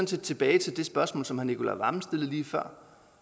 set tilbage til det spørgsmål som herre nicolai wammen stillede lige før